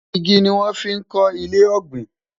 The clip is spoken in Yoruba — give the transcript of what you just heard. ìgi ní wón fí kò ilé ògbìn